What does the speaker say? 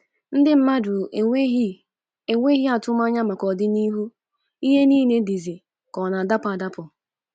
“Ndị mmadụ enweghị enweghị atụmanya maka ọdịnihu, ihe nile dizi ka ọ na-adakpọ adakpọ.